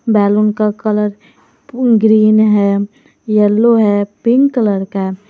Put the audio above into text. Balloon का colour green है yellow है पिंक कलर का है।